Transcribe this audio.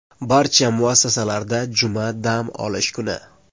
Barcha muassasalarda juma dam olish kuni.